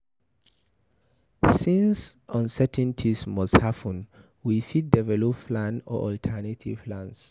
Since uncertainties must happen we fit develop plan or alternative plans